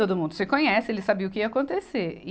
Todo mundo se conhece, ele sabia o que ia acontecer. e